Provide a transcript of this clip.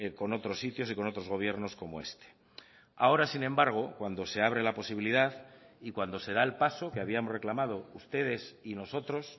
con otros sitios y con otros gobiernos como este ahora sin embargo cuando se abre la posibilidad y cuando se da el paso que habíamos reclamado ustedes y nosotros